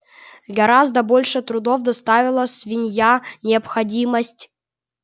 гораздо больше трудов доставила свинья необходимость